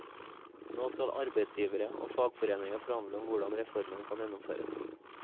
Nå skal arbeidsgivere og fagforeninger forhandle om hvordan reformen kan gjennomføres.